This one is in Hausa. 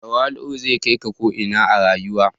Tawali'u zai kai ka ko ina a rayuwa.